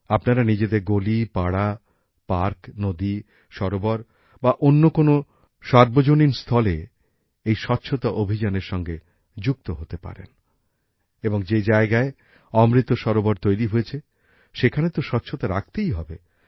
আপনারা নিজেদের গলি পাড়া পার্ক নদী সরোবর বা অন্য কোন সার্বজনীন স্থলে এই স্বচ্ছতা অভিযানের সঙ্গে যুক্ত হতে পারেন এবং যে জায়গায় অমৃত সরোবর তৈরি হয়েছে সেখানে তো স্বচ্ছতা রাখতেই হবে